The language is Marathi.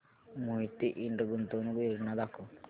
मोहिते इंड गुंतवणूक योजना दाखव